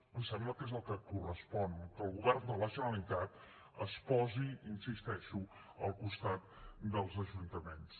em sembla que és el que correspon que el govern de la generalitat es posi hi insisteixo al costat dels ajuntaments